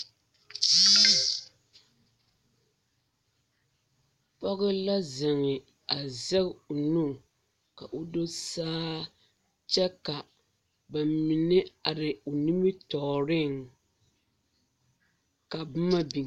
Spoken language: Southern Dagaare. Pɔge la zeŋ a zɛge o nu ka o do saa kyɛ ka ba mine are o.nimitɔɔreŋ ka boma biŋ.